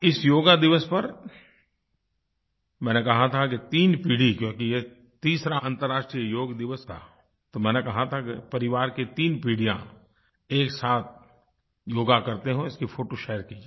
इस योग दिवस पर मैंने कहा था कि तीन पीढ़ी क्योंकि ये तीसरा अन्तर्राष्ट्रीय योग दिवस था तो मैंने कहा था कि परिवार की तीन पीढ़ियाँ एक साथ योग करते हुए उसकी फ़ोटो शेयर कीजिये